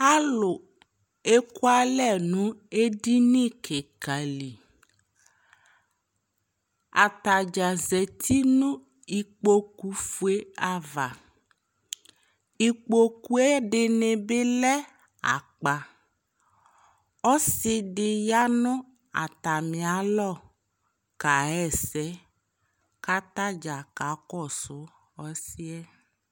alò eku alɛ no edini keka li atadza zati no ikpoku fue ava ikpoku yɛ ɛdini bi lɛ akpa ɔsi di bi ya no atami alɔ ka ɣa ɛsɛ k'atadza ka kɔsu ɔsiɛ